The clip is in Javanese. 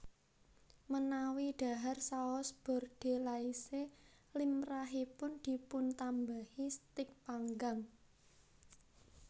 Menawi dhahar Saus Bordelaise limrahipun dipuntambahi stik panggang